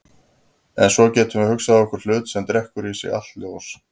En svo getum við hugsað okkur hlut sem drekkur í sig allt ljós.